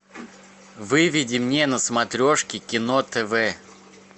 выведи мне на смотрешке кино тв